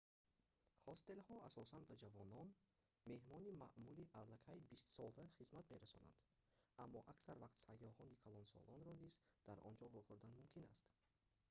ҳостелҳо асосан ба ҷавонон меҳмони маъмулӣ аллакай бистсола хизмат мерасонанд аммо аксар вақт сайёҳони калонсолро низ дар он ҷо вохӯрдан мумкин аст